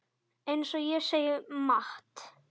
Eins og segir í Matt.